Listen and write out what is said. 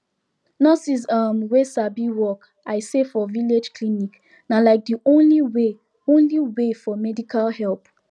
nurses um wey sabi work i say for village clinic na like de only way only way for medical help